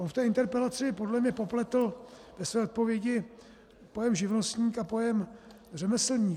On v té interpelaci podle mě popletl ve své odpovědi pojem živnostník a pojem řemeslník.